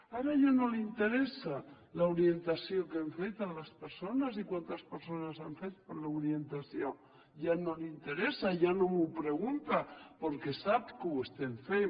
ara ja no li interessa l’orientació que hem fet a les persones i quantes persones han fet l’orientació ja no li interessa ja no m’ho pregunta perquè sap que ho estem fent